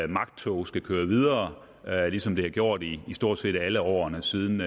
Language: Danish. magttog skal køre videre ligesom det har gjort i stort set alle årene siden